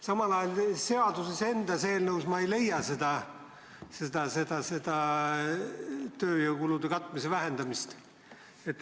Samal ajal seaduses endas või eelnõus ei leia ma seda tööjõukulude katmise vähendamist.